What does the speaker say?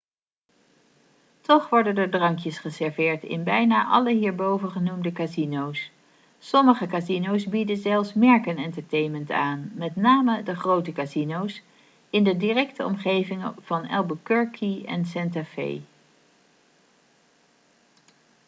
toch worden er drankjes geserveerd in bijna alle hierboven genoemde casino's. sommige casino's bieden zelfs merkentertainment aan met name de grote casino's in de directe omgeving van albuquerque en santa fe